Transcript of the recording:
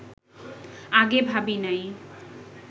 আগে ভাবি নাই